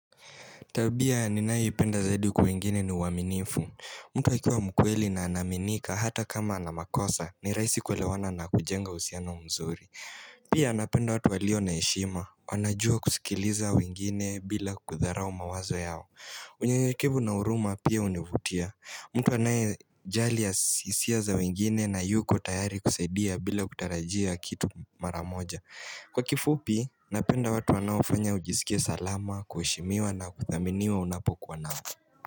Tabia ninayoipenda zaidi kwa wengine ni uaminifu. Mtu akiwa mkweli na anaaminika hata kama ana makosa ni raisi kulewana na kujenga uhusiano mzuri. Pia napenda watu walio na heshima. Wanajua kusikiliza wengine bila kudharao mawazo yao. Unyenyekevu na huruma pia hunivutia. Mtu anayejali hisia za wengine na yuko tayari kusaidia bila kutarajia kitu maramoja. Kwa kifupi, napenda watu wanofanya ujisikie salama, kuheshimiwa na kuthaminiwa unapokuwa nao.